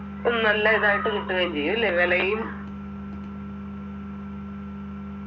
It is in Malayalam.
ഉം നല്ല ഇതായിട്ട് കിട്ടുകയും ചെയ്യും ഇല്ലെ വിലയും